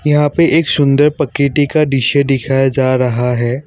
यहाँ पे एक सुंदर प्रकृति का दृश्य दिखाया जा रहा है।